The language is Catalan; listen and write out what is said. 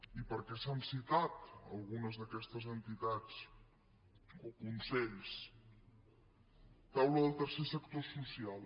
i per què s’han citat algunes d’aquestes entitats o consells taula del tercer sector social